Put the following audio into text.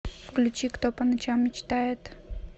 включи кто по ночам мечтает